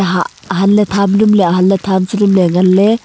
ha ahan ley tham dem tham ngan ley.